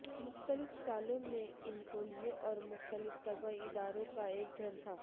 مختلف سالوں میں انکولیوں اور مختلف طبی اداروں کا ایک گھر تھا